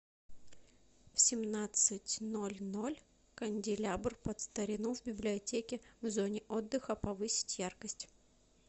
в семнадцать ноль ноль канделябр под старину в библиотеке в зоне отдыха повысить яркость